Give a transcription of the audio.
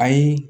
Ayi